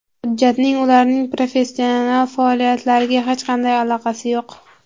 Hujjatning ularning professional faoliyatlariga hech qanday aloqasi yo‘q.